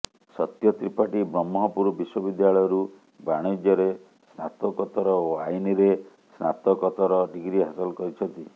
ସତ୍ୟ ତ୍ରିପାଠୀ ବ୍ରହ୍ମପୁର ବିଶ୍ୱ ବିଦ୍ୟାଳୟରୁ ବାଣିଜ୍ୟରେ ସ୍ନାତୋକତ୍ତର ଓ ଆଇନରେ ସ୍ନାତୋକତ୍ତର ଡିଗ୍ରୀ ହାସଲ କରିଛନ୍ତି